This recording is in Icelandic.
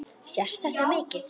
Sést þetta mikið?